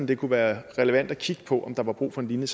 det kunne være relevant at kigge på om der var brug for en lignende